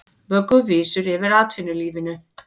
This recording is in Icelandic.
Vögguvísur yfir atvinnulífinu